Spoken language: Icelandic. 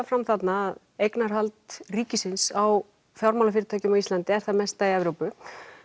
fram þarna að eignarhald ríkisins á fjármálafyrirtækjum á Íslandi er það mesta í Evrópu